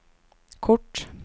kort